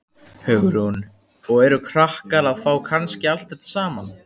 Hugrún: Og eru krakkar að fá kannski allt þetta saman?